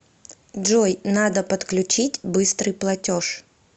джой надо подключить быстрый платеж